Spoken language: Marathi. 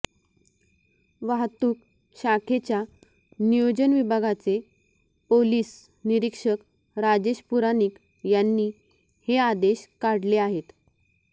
वाहतूक शाखेच्या नियोजन विभागाचे पोलीस निरीक्षक राजेश पुराणिक यांनी हे आदेश काढले आहेत